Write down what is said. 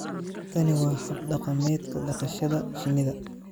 tani waa hab dhaqameedka dhaqashada shinnida.